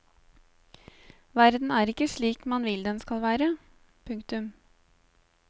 Verden er ikke slik man vil den skal være. punktum